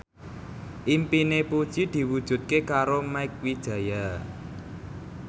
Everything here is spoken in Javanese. impine Puji diwujudke karo Mieke Wijaya